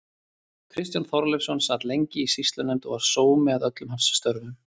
Kristján Þorleifsson sat lengi í sýslunefnd og var sómi að öllum hans störfum.